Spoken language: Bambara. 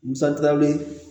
Musaka wele